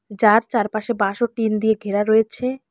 যার চারপাশে বাঁশ ও টিন দিয়ে ঘেরা রয়েছে।